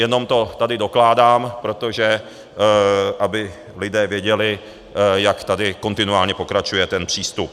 Jenom to tady dokládám, protože aby lidé věděli, jak tady kontinuálně pokračuje ten přístup.